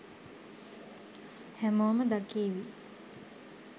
හැමෝම දකීවි